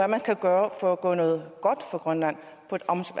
man kan gøre for at gøre noget godt for grønland på et